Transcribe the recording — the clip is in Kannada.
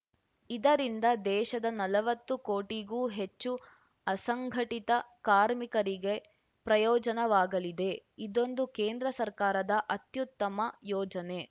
ಇದರಿಂದ ದೇಶದ ನಲವತ್ತು ಕೋಟಿಗೂ ಹೆಚ್ಚು ಅಸಂಘಟಿತ ಕಾರ್ಮಿಕರಿಗೆ ಪ್ರಯೋಜನವಾಗಲಿದೆ ಇದೊಂದು ಕೇಂದ್ರ ಸರ್ಕಾರದ ಅತ್ಯುತ್ತಮ ಯೋಜನೆ